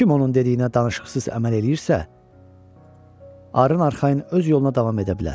Kim onun dediyinə danışıqsız əməl eləyirsə, arxayın öz yoluna davam edə bilər.